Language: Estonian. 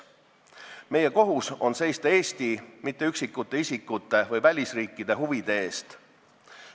Meie kohus on seista Eesti, mitte üksikute isikute või välisriikide huvide eest.